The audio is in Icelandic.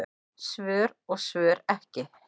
Svör og svör ekki.